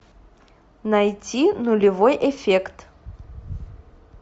найди нулевой эффект